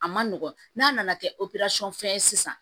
A ma nɔgɔn n'a nana kɛ fɛn ye sisan